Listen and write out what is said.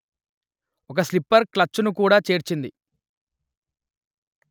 ఒక slipper clutch ను కూడా చేర్చింది